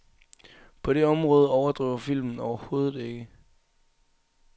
På det område overdriver filmen overhovedet ikke.